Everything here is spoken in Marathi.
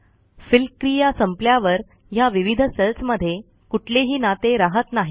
फिल क्रिया संपल्यावर ह्या विविध सेल्समधे कुठलेही नाते रहात नाही